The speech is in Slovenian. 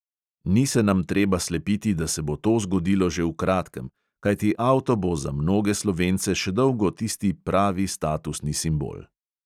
Ni se nam treba slepiti, da se bo to zgodilo že v kratkem, kajti avto bo za mnoge slovence še dolgo tisti pravi statusni simbol.